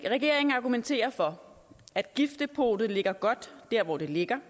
regeringen argumenterer for at giftdepotet ligger godt der hvor det ligger